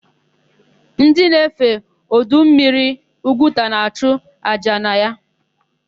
Ndị na-efe ọdọmmiri Ugwuta na-achụ àjà na ya.